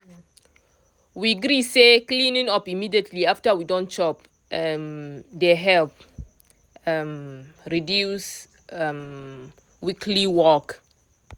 we gree say cleaning up immediately after we don chop um dey help um reduce um weekly work